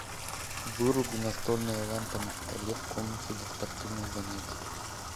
выруби настольная лампа на столе в комнате для спортивных занятий